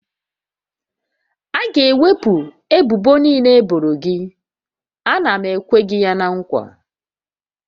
A ga-ewepụ ebubo niile e boro gị, a na m ekwe gị ya na nkwa